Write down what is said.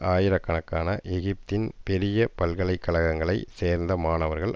ஆயிரக்கணக்கான எகிப்தின் பெரிய பல்கலை கழகங்களை சேர்ந்த மாணவர்கள்